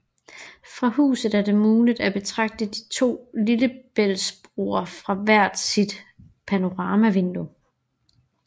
Fra huset er det muligt at betragte de to lillebæltsbroer fra hvert sit panoramavindue